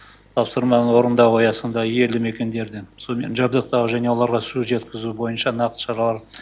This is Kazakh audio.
тапсырманы орындау аясында елді мекендерді сумен жабдықтау және оларға су жеткізу бойынша нақты шаралар